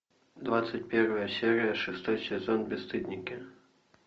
двадцать первая серия шестой сезон бесстыдники